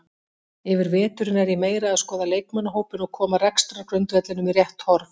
Yfir veturinn er ég meira að skoða leikmannahópinn og koma rekstrargrundvellinum í rétt horf.